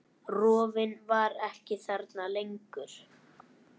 Rofinn var ekki þarna lengur.